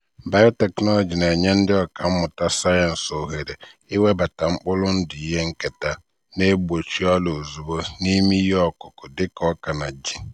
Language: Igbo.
biotechnology na-enye ndị ọkà mmụta sayensị ohere iwebata mkpụrụ ndụ ihe nketa na-egbochi ọrịa ozugbo n'ime ihe ọkụkụ dị ka ọka na ji.